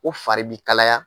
fari bi kalaya.